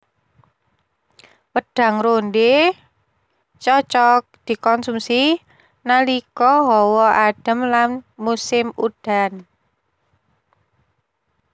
Wédang rondhé cocok dikonsumsi nalika hawa adem lan musim udan